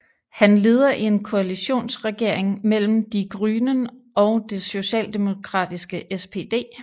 Han leder en koalitionsregering mellem Die Grünen og det socialdemokratiske SPD